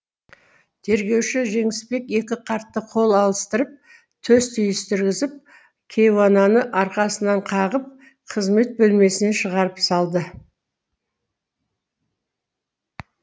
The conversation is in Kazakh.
тергеуші жеңісбек екі қартты қол алыстырып төс түйістіргізіп кейуананы арқасынан қағып қызмет бөлмесінен шығарып салды